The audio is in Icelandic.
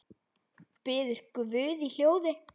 Biður guð í hljóði.